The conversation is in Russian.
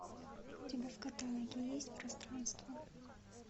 у тебя в каталоге есть пространство